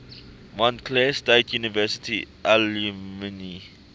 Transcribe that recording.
montclair state university alumni